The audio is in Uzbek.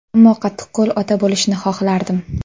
Ammo qattiqqo‘l ota bo‘lishni xohlardim.